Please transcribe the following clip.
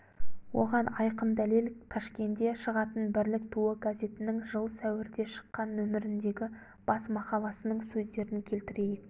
оған айқын дәлел ташкенде шығатын бірлік туы газетінің жыл сәуірде шыққан нөміріндегі бас мақаласының сөздерін келтірейік